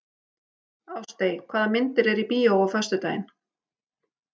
Ástey, hvaða myndir eru í bíó á föstudaginn?